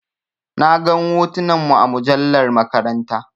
Na gan hotunan mu a mujallar maƙaranta.